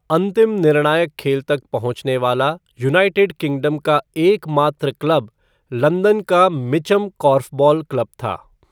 अंतिम निर्णायक खेल तक पहुंचने वाला यूनाइटेड किंगडम का एकमात्र क्लब लंदन का मिचम कॉर्फ़बॉल क्लब था।